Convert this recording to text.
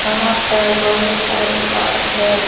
यहां पर बहुत सारे कांच है।